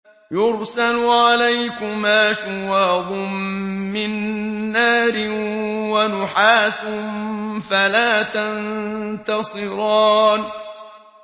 يُرْسَلُ عَلَيْكُمَا شُوَاظٌ مِّن نَّارٍ وَنُحَاسٌ فَلَا تَنتَصِرَانِ